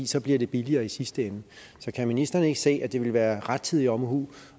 så bliver det billigere i sidste ende så kan ministeren ikke se at det vil være rettidig omhu